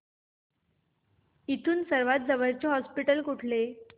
इथून सर्वांत जवळचे हॉस्पिटल कुठले